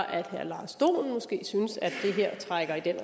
at herre lars dohn måske synes at det her trækker i den